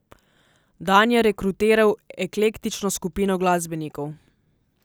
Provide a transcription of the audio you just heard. Dan je rekrutiral eklektično skupino glasbenikov.